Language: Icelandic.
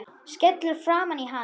Skellur framan í hann.